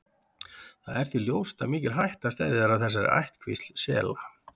Það er því ljóst að mikil hætta steðjar að þessari ættkvísl sela.